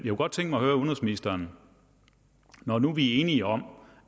godt tænke mig at høre udenrigsministeren når nu vi er enige om